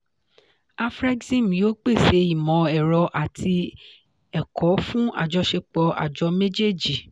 afrexim yóò pèsè ìmọ̀ ẹ̀rọ àti ẹ̀kọ́ fún àjọṣepọ̀ àjọ méjèèjì.